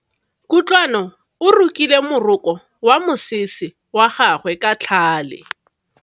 Kutlwano o rokile moroko wa mosese wa gagwe ka tlhale.